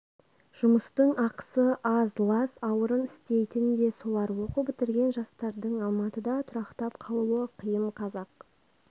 жұмыстың ақысы аз лас ауырын істейтн де солар оқу бітірген жастардың алматыда тұрақтап қалуы қиын қазақ